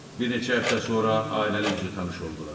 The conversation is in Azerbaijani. Bir neçə həftə sonra ailəlikcə tanış oldular.